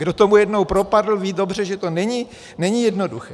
Kdo tomu jednou propadl, ví dobře, že to není jednoduché.